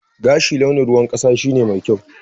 Gashi launin ruwan kasa shine mai kyau.